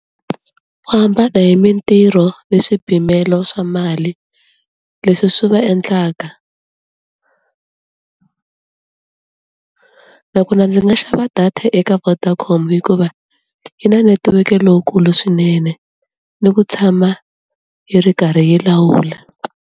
Ku hambana hi mintirho ni swipimelo swa mali leswi swi va endlaka nakona ndzi nga xava data eka Vodacom hikuva yi na netiweke lowukulu swinene ni ku tshama yi ri karhi yi lawula.